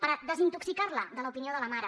per desintoxicarla de l’opinió de la mare